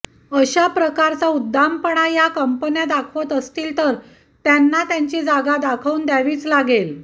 अशा प्रकारचा उद्दामपणा या कंपन्या दाखवत असतील तर त्यांना त्यांची जागा दाखवून द्यावीच लागेल